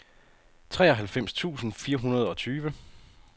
treoghalvfems tusind fire hundrede og tyve